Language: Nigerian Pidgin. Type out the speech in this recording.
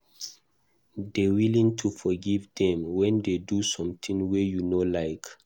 Dey willing to forgive dem when dey do something wey you no like